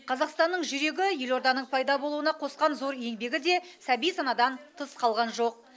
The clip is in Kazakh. қазақстанның жүрегі елорданың пайда болуына қосқан зор еңбегі де сәби санадан тыс қалған жоқ